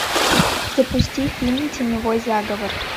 запусти фильм теневой заговор